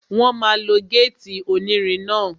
Wọ́n máa lo gétì onírin náà